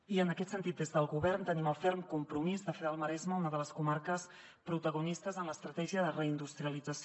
i en aquest sentit des del govern tenim el ferm compromís de fer del maresme una de les comarques protagonistes en l’estratègia de reindustrialització